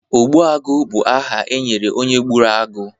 ogbuagụ bụ aha e nyere onye gburu agụ